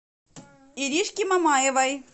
иришке мамаевой